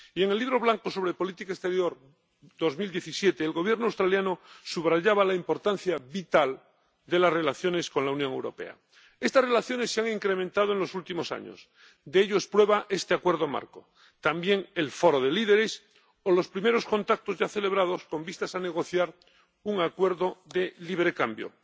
En el Libro Blanco sobre política exterior 2017, el Gobierno australiano subrayaba la importancia vital de las relaciones con la Unión Europea. Estas relaciones se han incrementado en los últimos años de ello son prueba este Acuerdo Marco, también el foro de líderes, o los primeros contactos ya celebrados con vistas a negociar un acuerdo de libre cambio.